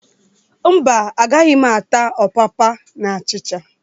Mba, agaghị m ata ọpapa na achịcha.